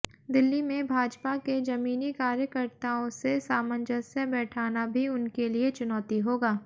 दिल्ली में भाजपा के जमीनी कार्यकर्ताओं से सामंजस्य बैठाना भी उनके लिए चुनौती होगा